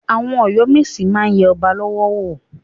Àwọn Ọ̀yọ́ mèsì máa yẹ ọba lọ́wọ́ wò.